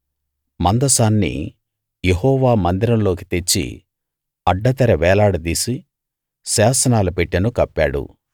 మందసాన్ని యెహోవా మందిరంలోకి తెచ్చి అడ్డతెర వేలాడదీసి శాసనాల పెట్టెను కప్పాడు